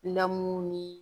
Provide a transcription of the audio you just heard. Lamu ni